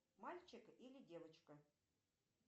мальчик или девочка